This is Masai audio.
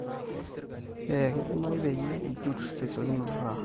eeeh keidimayu peyie ijut tesiokinoto taa